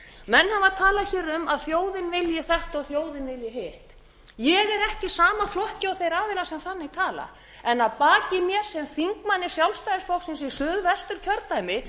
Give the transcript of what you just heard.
menn hafa talað hér um að þjóðin vilji þetta og þjóðin vilji hitt ég er ekki í sama flokki og þeir aðilar sem þannig tala en að baki mér sem þingmanni sjálfstæðisflokksins í suðvesturkjördæmi